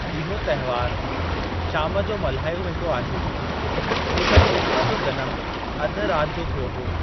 इहो त्‍योहार शाम जो मनायो वेंदो आहे छो त कृष्‍ण जो जनमु अध रात जो थियो हो।